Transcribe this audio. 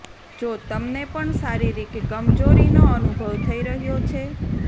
જો તમને પણ શારીરિક કમજોરીનો અનુભવ થઇ રહ્યો છે